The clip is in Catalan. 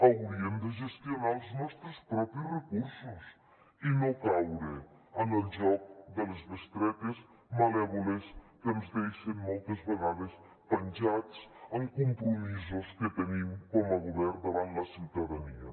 hauríem de gestionar els nostres propis recursos i no caure en el joc de les bestretes malèvoles que ens deixen moltes vegades penjats amb compromisos que tenim com a govern davant la ciutadania